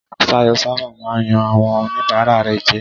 Ṣayọ̀ sábà máa ń yan àwọn oníbàárà rẹ̀ jẹ.